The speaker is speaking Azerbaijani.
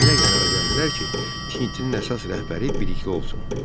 Belə qərara gəldilər ki, tintinin əsas rəhbəri Bilikli olsun.